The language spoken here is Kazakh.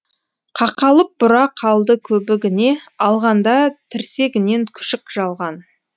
қақалып бұра қалды көбігіне алғанда тірсегінен күшік жалған